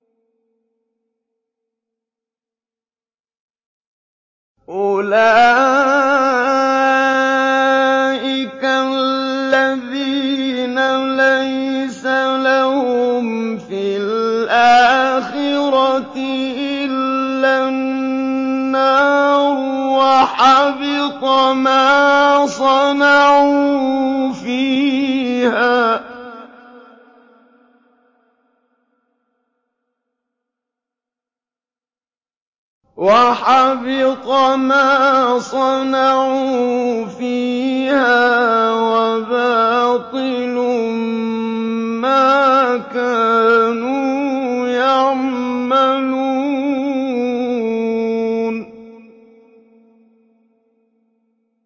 أُولَٰئِكَ الَّذِينَ لَيْسَ لَهُمْ فِي الْآخِرَةِ إِلَّا النَّارُ ۖ وَحَبِطَ مَا صَنَعُوا فِيهَا وَبَاطِلٌ مَّا كَانُوا يَعْمَلُونَ